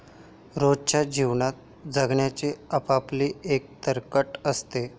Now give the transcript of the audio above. रोजच्या जीवनात जगण्याचे आपआपले एक तर्कट असते.